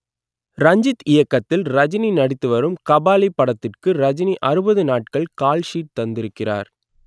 ரஞ்சித் இயக்கத்தில் ரஜினி நடித்துவரும் கபாலி படத்துக்கு ரஜினி அறுபது நாள்கள் கால்ஷீட் தந்திருக்கிறார்